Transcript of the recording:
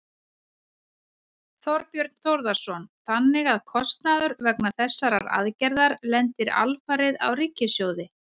Þorbjörn Þórðarson: Þannig að kostnaður vegna þessarar aðgerðar lendir alfarið á ríkissjóði?